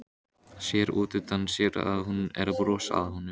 Sér útundan sér að hún er að brosa að honum.